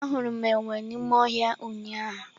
Ahụrụ m enwe n'ime ọhịa ụnyahụ.